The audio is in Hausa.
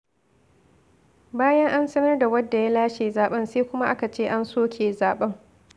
Bayan an sanar da wanda ya lashe zaben sai kuma aka ce an soke zaɓen.